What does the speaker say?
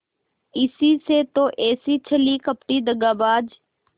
इसी से तो ऐसी छली कपटी दगाबाज